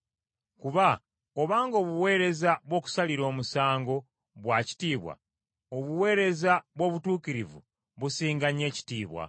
Kuba obanga obuweereza bw’okusalirwa omusango bwa kitiibwa, obuweereza bw’obutuukirivu businga nnyo ekitiibwa.